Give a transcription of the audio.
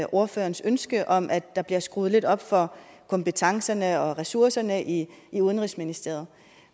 ordførerens ønske om at der bliver skruet lidt op for kompetencerne og ressourcerne i i udenrigsministeriet